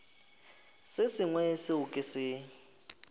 se sengwe seo ke se